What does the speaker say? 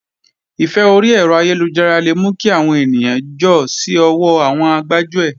Ìfẹ́ orí ẹ̀rọ ayélujára le mú kí àwọn ènìyàn jọ́ sí ọwọ́ àwọn gbájúẹ̀